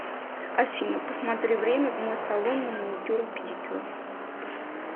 афина посмотри время в мой салон на маникюр и педикюр